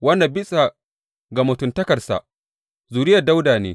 Wanda bisa ga mutuntakarsa, zuriyar Dawuda ne.